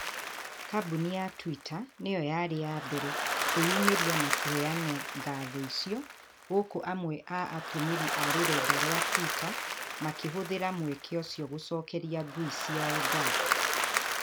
Kambuni ya Twita nĩyo yarĩ ya mbere kwĩyumĩria na kũheana ngatho icio, gukũ amwe a atumĩrĩ a rũrenda rwa Twitter makĩhũthĩra mweke ũcio gũcokeria ngui ciao ngatho